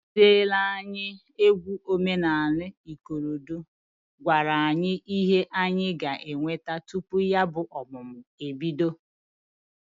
Ndi kụzịlị anyị egwu omenanị ikorodo kọwara anyị ihe anyị ga-eweta tupu ya bụ ọmụmụ ebido.